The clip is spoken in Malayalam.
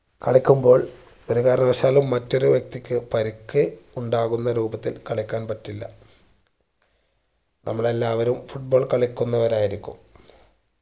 കളിക്കുമ്പോൾ ഒരു കാരണവശാലും മറ്റൊരു വ്യക്തിക്ക് പരിക്ക് ഉണ്ടാകുന്ന രൂപത്തിൽ കളിക്കാൻ പറ്റില്ല നമ്മൾ എല്ലാവരും foot ball കളിക്കുന്നവരായിരിക്കും